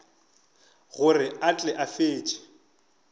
gore a tle a fetše